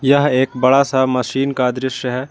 यह एक बड़ा सा मशीन का दृश्य है।